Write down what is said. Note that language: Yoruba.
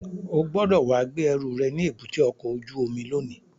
O gbọ́dọ̀ wá gbé ẹrù rẹ̀ ní èbúté ọkọ̀ ojú omi lónìí!